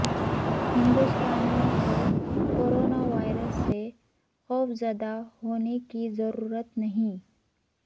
ہندوستانیوں کو corona virus سے خوفزدہ ہونے کی ضرورت نہیں